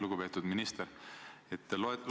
Lugupeetud minister!